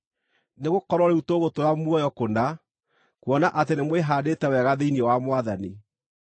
Nĩgũkorwo rĩu tũgũtũũra muoyo kũna, kuona atĩ nĩmwĩhaandĩte wega thĩinĩ wa Mwathani.